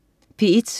P1: